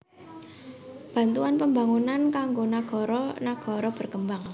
Bantuan Pembangunan kanggo nagara nagara berkembang